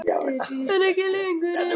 En ekki lengur ein.